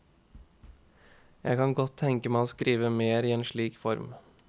Jeg kan godt tenke meg å skrive mer i en slik form.